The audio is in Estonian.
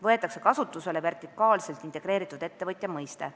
Võetakse kasutusele vertikaalselt integreeritud ettevõtja mõiste.